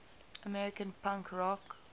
american punk rock